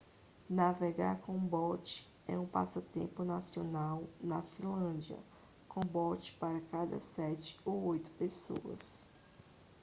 navegar com um bote é um passatempo nacional na finlândia com um bote para cada sete ou oito pessoas